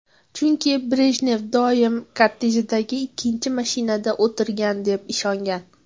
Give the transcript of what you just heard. Chunki Brejnev doim kortejidagi ikkinchi mashinada o‘tirgan deb ishongan.